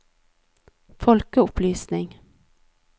folkeopplysning